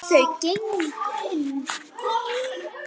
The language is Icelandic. Þau gengu inn.